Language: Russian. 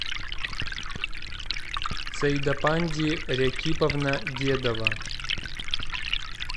саидапанди рякиповна дедова